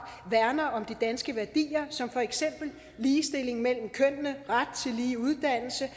værner om de danske værdier som for eksempel ligestilling mellem kønnene ret til lige uddannelse